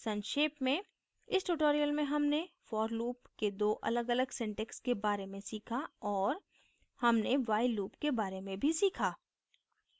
संक्षेप में इस tutorial में हमने for loop के दो अलगअलग syntax के बारे में सीखा और हमने while loop के बारे में भी सीखा